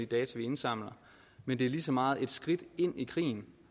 data vi indsamler men det er lige så meget et skridt ind i krigen